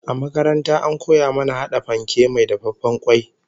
A makaranta an koya mana hada fanke mai dafaffen kwai